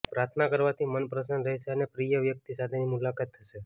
પ્રાર્થના કરવાથી મન પ્રસન્ન રહેશે અને પ્રિય વ્યક્તિ સાથેની મુલાકાત થશે